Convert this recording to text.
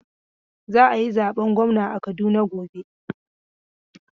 Za a yi zaben gwamna a Kaduna gob.